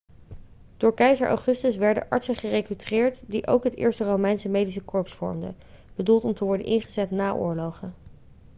door keizer augustus werden artsen gerekruteerd die ook het eerste romeinse medische korps vormden bedoeld om te worden ingezet na oorlogen